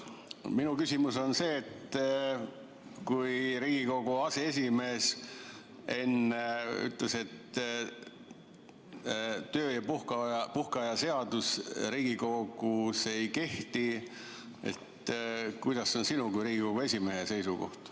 Minu küsimus on see, et kui Riigikogu aseesimees enne ütles, et töö- ja puhkeaja seadus Riigikogus ei kehti, siis kuidas on sinu kui Riigikogu esimehe seisukoht.